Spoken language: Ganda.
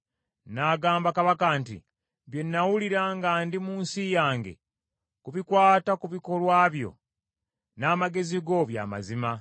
N’agamba kabaka nti, “Bye nnawulira nga ndi mu nsi yange ku bikwata ku bikolwa byo n’amagezi go bya mazima,